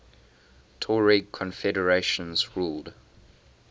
tuareg confederations ruled